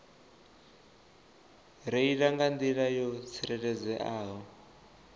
reila nga nḓila yo tsireledzeaho